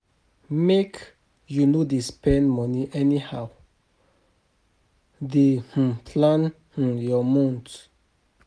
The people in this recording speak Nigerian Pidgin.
Make you no dey spend moni anyhow, dey um plan um your month.